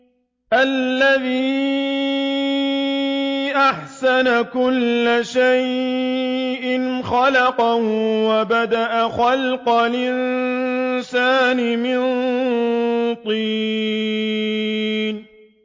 الَّذِي أَحْسَنَ كُلَّ شَيْءٍ خَلَقَهُ ۖ وَبَدَأَ خَلْقَ الْإِنسَانِ مِن طِينٍ